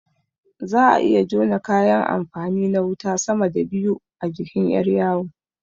Za'a iya jona kayan amfani na wuta sama da biyu a jikin ƴar yawo